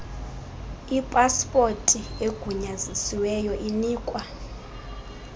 ipaspoti egunyazisiweyo inikwa